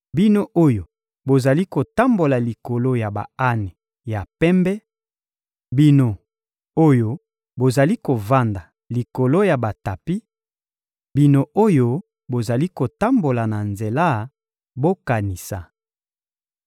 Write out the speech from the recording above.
Bino oyo bozali kotambola likolo ya ba-ane ya pembe, bino oyo bozali kovanda likolo ya batapi, bino oyo bozali kotambola na nzela, bokanisa!